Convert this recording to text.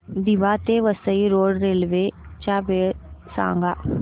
दिवा ते Vasai road railway च्या वेळा सांगा